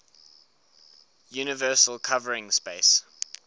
universal covering space